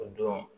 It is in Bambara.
O don